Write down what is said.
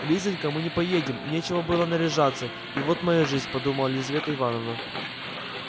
лизанька мы не поедем нечего было наряжаться и вот моя жизнь подумала елизавета ивановна